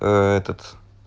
этот